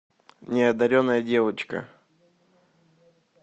неодаренная девочка